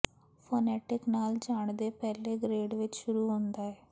phonetic ਨਾਲ ਜਾਣਦੇ ਪਹਿਲੇ ਗ੍ਰੇਡ ਵਿੱਚ ਸ਼ੁਰੂ ਹੁੰਦਾ ਹੈ